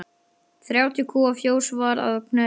Þrjátíu kúa fjós var að Knerri.